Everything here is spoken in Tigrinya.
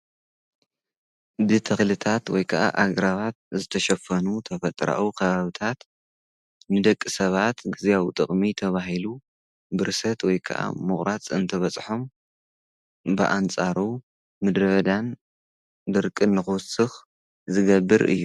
ብተኽልታት ወይ ከዓ ኣግራባት ዝተሸፈኑ ተፈጥሮኣዊ ከባብታት ንደቂ ሰባት ግዚያዊ ጥቕሚ ተባሂሉ ብርሰት ወይ ከዓ ምቑራፅ እንትበፅሖም ብኣንፃሩ ምድረ በዳን ድርቅን ንኽውስኽ ዝገብር እዩ፡፡